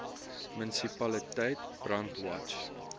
munisipaliteit brandwatch